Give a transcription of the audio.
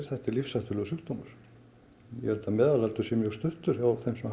þetta er lífshættulegur sjúkdómur ég held að meðalaldur sé mjög stuttur hjá þeim sem